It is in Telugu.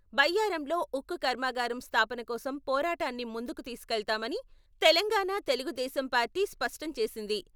బయ్యారంలో ఉక్కు కర్మాగారం స్థాపనకోసం పోరాటాన్ని ముందుకు తీసుకెళ్తామని తెలంగాణ తెలుగుదేశం పార్టీ స్పష్టంచేసింది.